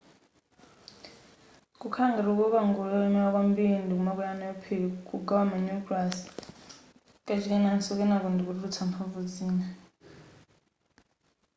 kukhala ngati kukoka ngolo yolemera kwambiri ndikumakwera nayo phiri kugawa ma nucleus kachikenaso kenako ndikutulutsa mphamvu zina